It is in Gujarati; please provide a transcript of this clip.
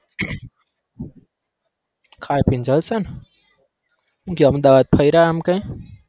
ખાઈ પી ને જલસા ન હું કે અમદાવાદ ફયરા એમ કાય?